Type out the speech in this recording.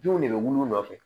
Denw de bɛ wili u nɔfɛ